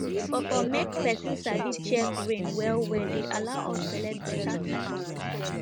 for for make person sabi check rain well well dey allow us select better type of plant